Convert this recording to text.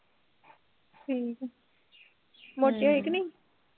ਠੀਕ ਐ ਹਮ ਮੋਟੀ ਹੋਈ ਕਿ ਨਹੀਂ